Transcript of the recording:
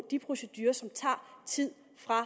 de procedurer som tager tid fra